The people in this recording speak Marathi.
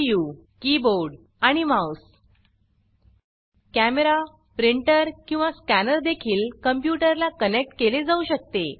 यू कीबोर्ड आणि माउस कॅमेरा प्रिंटर किंवा स्कॅनर देखील कंप्यूटर ला कनेक्ट केले जाऊ शकते